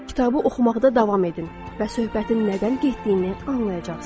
Kitabı oxumaqda davam edin və söhbətin nədən getdiyini anlayacaqsınız.